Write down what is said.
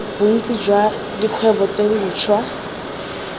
bontsi jwa dikgwebo tse dintshwa